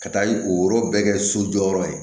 Ka taa o yɔrɔ bɛɛ kɛ so jɔyɔrɔ ye